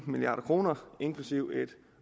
milliard kr inklusive et